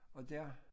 Og dér